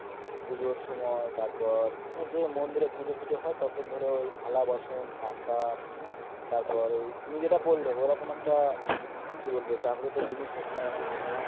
পুজোর সময় তারপর যে মন্দির এ পূজা ফুজ হয় তখন ধরো তালা-বাসন কাসা তারপর তুমি যেটা বললে ওরকম একটা কি বলবো জাগ্রত জিনিস একটা ওখানে হত.